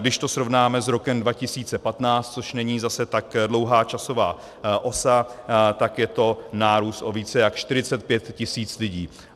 Když to srovnáme s rokem 2015, což není zase tak dlouhá časová osa, tak je to nárůst o více než 45 tis. lidí.